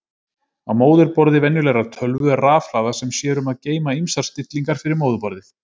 Á móðurborði venjulegrar tölvu er rafhlaða sem sér um að geyma ýmsar stillingar fyrir móðurborðið.